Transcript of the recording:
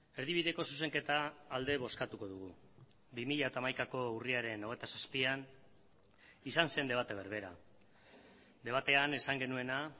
erdibideko zuzenketa alde bozkatuko dugu bi mila hamaikako urriaren hogeita zazpian izan zen debate berbera debatean esan genuena